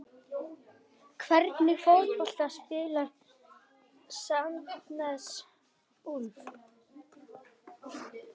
Hvernig fótbolta spilar Sandnes Ulf?